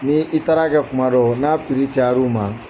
Ni i taara kɛ kuma dɔ n'a piri cayar'u ma